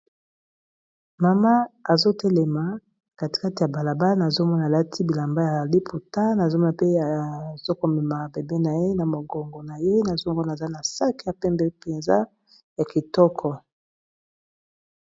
Mama azotelema kati kati ya balaba nazomona alati bilamba ya liputa nazomona pe azokomema bebe na ye na mokongo na ye nazomona aza na sac ya pembe mpenza ya kitoko.